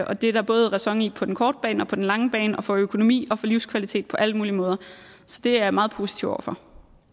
og det er der både ræson i på den korte bane og på den lange bane og for økonomi og for livskvalitet på alle mulige måder så det er jeg meget positiv over for